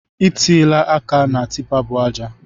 I tiela áká na tipa bu ájá